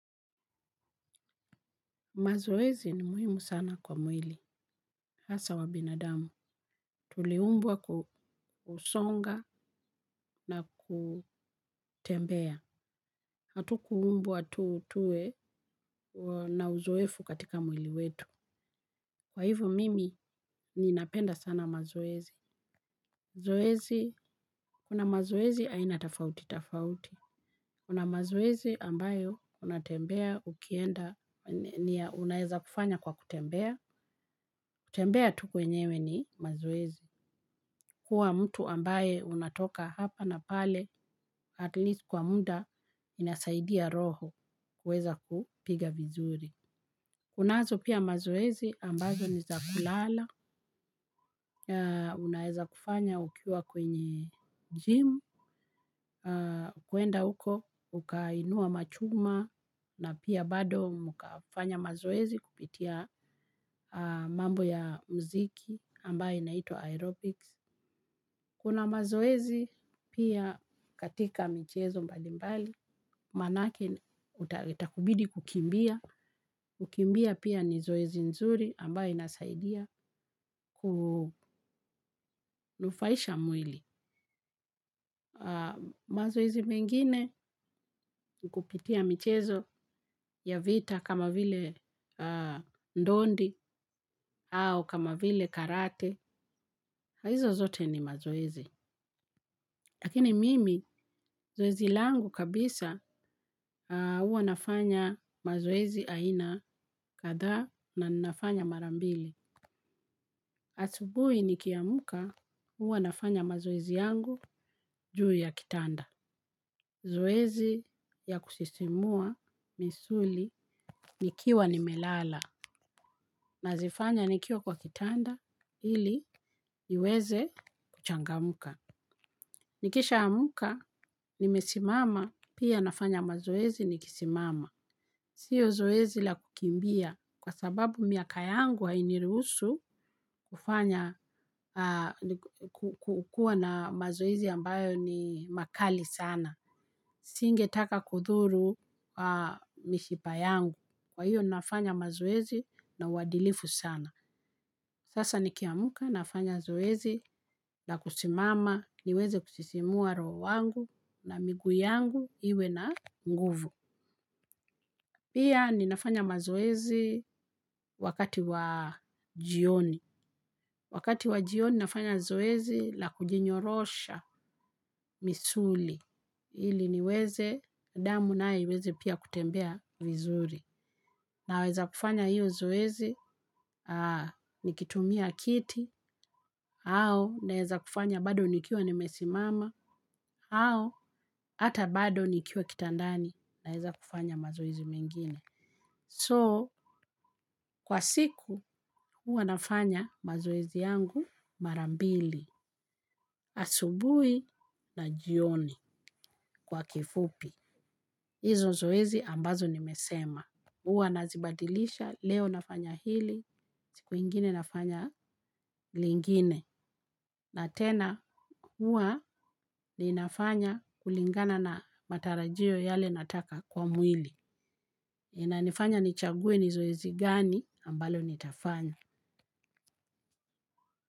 Mazoezi ni muhimu sana kwa mwili. Hasa wa binadamu. Tuliumbwa kusonga na kutembea. Hatukuumbwa tuwe na uzoefu katika mwili wetu. Kwa hivyo mimi, ninapenda sana mazoezi. Zoezi, kuna mazoezi ainatafauti, tafauti. Kuna mazoezi ambayo, unatembea, ukienda, unaweza kufanya kwa kutembea. Kutembea tu kwenyewe ni mazoezi. Kuwa mtu ambaye unatoka hapa na pale, at least kwa muda, inasaidia roho kuweza kupiga vizuri. Kunazo pia mazoezi ambazo ni zakulala, unaweza kufanya ukiwa kwenye gym, kwenda huko, ukainua machuma, na pia bado mkafanya mazoezi kupitia mambo ya mziki ambaye inaitwa aerobics. Kuna mazoezi pia katika michezo mbalimbali, maana yake itakubidi kukimbia, kukimbia pia ni zoezi nzuri ambayo inasaidia kunufaisha mwili. Mazoezi mengine kupitia michezo ya vita kama vile ndondi au kama vile karate, haizo zote ni mazoezi. Lakini mimi zoezi langu kabisa huwa nafanya mazoezi aina kadhaa na ninafanya marambili. Asubuhi nikiamka huwa nafanya mazoezi yangu juu ya kitanda. Zoezi ya kusisimua misuli nikiwa nimelala na zifanya nikiwa kwa kitanda ili niweze kuchangamka. Nikisha ya amka ni mesimama pia nafanya mazoezi nikisimama. Sio zoezi la kukimbia kwa sababu miaka yangu hainiruhusu kufanya kukuwa na mazoezi ambayo ni makali sana. Singe taka kudhuru mishipa yangu. Kwa hiyo nafanya mazoezi na uwadilifu sana. Sasa ni kiamka nafanya zoezi na kusimama niweze kusisimua roho wangu na miguu yangu iwe na nguvu. Pia ninafanya mazoezi wakati wa jioni. Wakati wa jioni ninafanya zoezi la kujinyorosha misuli. Ili niweze damu nayo iweze pia kutembea vizuri. Na weza kufanya iyo zoezi nikitumia kiti, au na weza kufanya bado nikiwa nimesimama, ao hata bado nikiwa kitandani na weza kufanya mazoezi mengine. So, kwa siku, huwa nafanya mazoezi yangu marambili, asubuhi na jioni kwa kifupi. Izo zoezi ambazo nimesema. Uwa nazibadilisha, leo nafanya hili, siku ingine nafanya lingine. Na tena, ua ni nafanya kulingana na matarajio yale nataka kwa mwili. Ina nifanya nichague ni zoezi gani, ambalo ni tafanya.